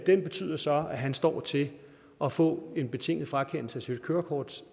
betyder så at han står til at få en betinget frakendelse af sit kørekort